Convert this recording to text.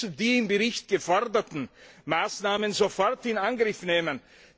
Wir müssen die im Bericht geforderten Maßnahmen sofort in Angriff nehmen.